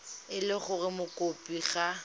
e le gore mokopi ga